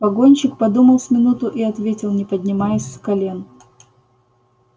погонщик подумал с минуту и ответил не поднимаясь с колен